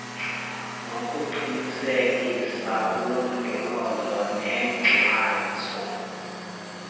nokuqinisekisa ulondolozo nenkxaso